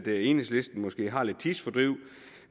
enhedslisten måske har lidt tidsfordriv